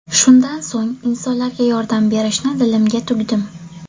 Shundan so‘ng insonlarga yordam berishni dilimga tugdim.